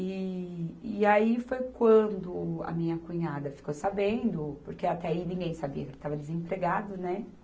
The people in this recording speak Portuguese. E, e aí foi quando a minha cunhada ficou sabendo, porque até aí ninguém sabia que ele estava desempregado, né?